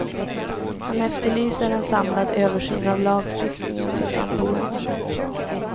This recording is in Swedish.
Han efterlyser en samlad översyn av lagstiftningen för samboende.